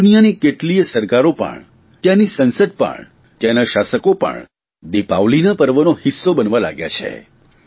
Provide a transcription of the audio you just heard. દુનિયાની કેટલીયે સરકારો પણ ત્યાંની સંસદ પણ ત્યાંના શાસકો પણ દિપાવલીના પર્વનો હિસ્સો બનવા લાગ્યા છે